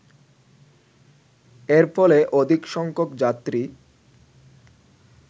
এর ফলে অধিকসংখ্যক যাত্রী